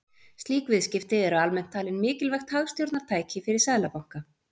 Slík viðskipti eru almennt talin mikilvægt hagstjórnartæki fyrir seðlabanka.